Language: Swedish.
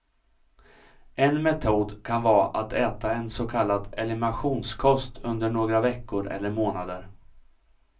En metod kan vara att äta en så kallad eliminationskost under några veckor eller månader.